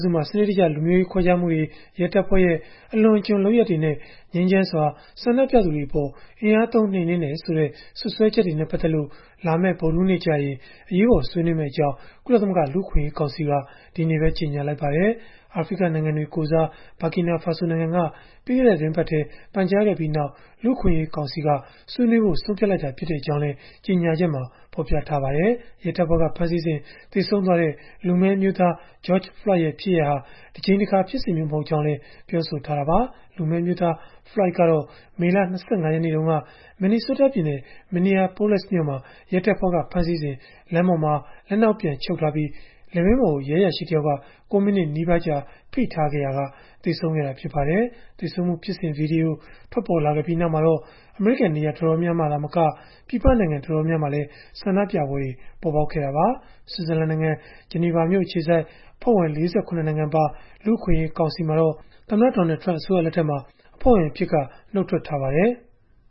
စုမှာ စနစ်တကျ လူမျိုးရေးခွဲခြားမှုတွေ၊ ရဲတပ်ဖွဲ့ရဲ့ အလွန်အကျွံလုပ်ရပ်တွေနဲ့ ငြိမ်းချမ်းစွာ ဆန္ဒပြသူတွေအပေါ် အင်အားသုံးနှိမ်နင်းတယ်ဆိုတဲ့ စွပ်စွဲချက်တွေနဲ့ ပတ်သက်လို့ လာမယ့် ဗုဒ္ဓဟူးနေ့ကျရင် အရေးပေါ် ဆွေးနွေးမယ့်အကြောင်း ကုလသမဂ္ဂ လူ့အခွင့်အရေးကောင်စီက ဒီကနေ့ပဲ ကြေညာလိုက်ပါတယ်။ အာဖရိကနိုင်ငံတွေကိုယ်စား Burkina Faso နိုင်ငံက ပြီးခဲ့တဲ့ သီတင်းပတ်မှာပဲ ပန်ကြားခဲ့ပြီးနောက် လူ့အခွင့်အရေးကောင်စီက ဆွေးနွေးဖို့ ဆုံးဖြတ်လိုက်တာဖြစ်ကြောင်းလည်း ကြေညာချက်မှာ ဖော်ပြထားပါတယ်။ ရဲတပ်ဖွဲ့က ဖမ်းဆီးစဉ် သေဆုံးသွားတဲ့ လူမည်းအမျိုးသား George Floyd ရဲ့ ဖြစ်ရပ်ဟာ တကြိမ်တခါ ဖြစ်စဉ်မျိုး မဟုတ်ကြောင်းလည်း ပြောဆိုခဲ့တာပါ။ လူမည်းအမျိုးသား Floyd ကတော့ မေလ ၂၅ ရက်နေ့တုန်းက Minnesota ပြည်နယ် Minneapolis မြို့မှာ ရဲတပ်ဖွဲ့က ဖမ်းဆီးစဉ် လမ်းပေါ်မှာ လက်နောက်ပြန်ချုပ်ထားပြီး လည်ပင်းပေါ်ကို ရဲအရာရှိတယောက်က ၉ မိနစ်နီးပါးကြာ ဖိထားခဲ့ရာက သေဆုံးခဲ့တာ ဖြစ်ပါတယ်။ သေဆုံးမှု ဖြစ်စဉ်ဗွီဒီယို ထွက်ပေါ်လာခဲ့ပြီးနောက်မှာတော့ အမေရိကန် နေရာတော်တော်များများမှာ သာမက ပြည်ပနိုင်ငံ တော်တော်များများမှာလည်း ဆန္ဒပြပွဲတွေ ပေါ်ပေါက်ခဲ့တာပါ။ ဆွစ်ဇာလန်နိုင်ငံ ဂျနီဗာမြို့အခြေစိုက် အဖွဲ့ဝင် ၄၇ နိုင်ငံပါ လူ့အခွင့်အရေး ကောင်စီမှာတော့ သမ္မတ Donald Trump အစိုးရလက်ထက်မှာ အဖွဲ့ဝင်အဖြစ်က နုတ်ထွက်ထားပါတယ်။